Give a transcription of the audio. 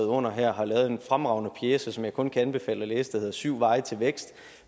under her har lavet en fremragende pjece som jeg kun kan anbefale at læse der hedder syv veje til vækst